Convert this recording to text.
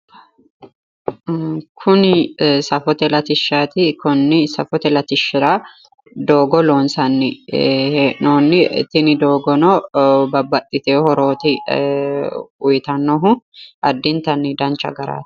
Kuni safote latishshaati. konni safote latishshira doogo loonsanni hee'noonni tini doogono babbaxxitewo horooti uyitannohu addintanni dancha garaati.